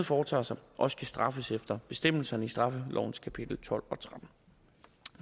foretager sig også kan straffes efter bestemmelserne i straffelovens kapitel tolv og trettende